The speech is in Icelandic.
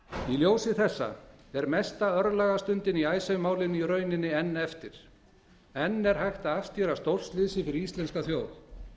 í ljósi þessa er mesta örlagastundin í icesave málinu í raun enn eftir enn er hægt að afstýra stórslysi fyrir íslenska þjóð